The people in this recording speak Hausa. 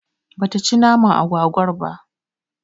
Bata ci naman agwagwar ba